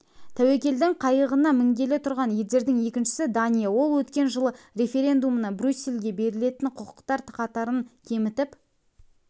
тәуекелдің қайығына мінгелі тұрған елдердің екіншісі дания ол өткен жылғы референдумында брюссельге берілетін құқықтар қатарын кемітіп